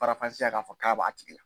Faranfasiya k'a fɔ k'a b'a tigi la.